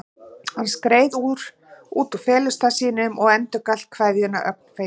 Hann skreið út úr felustað sínum og endurgalt kveðjuna, ögn feiminn.